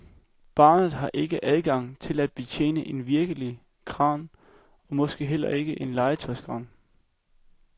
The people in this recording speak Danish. Barnet har ikke adgang til at betjene en virkelig kran, og måske heller ikke en legetøjskran.